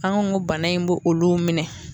An ko n ko bana in bɔ olu minɛn.